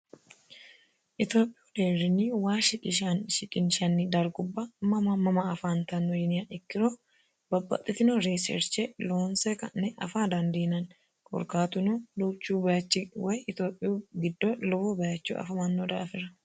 etiophiiyuu deerinni waa shiqinshanni darguwa mama mama afantanno yiniha ikkiro babaxitino riserche loonse ka'ne afa dandiinanni korkaatuno duuchu bayiichi wayii itiophiyuu giddo lowo bayiicho afamanno daafira